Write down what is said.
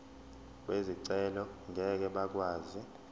bezicelo ngeke bakwazi